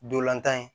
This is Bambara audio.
Dolantan in